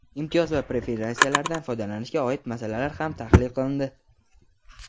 imtiyoz va preferensiyalardan foydalanishga oid masalalar ham tahlil qilindi.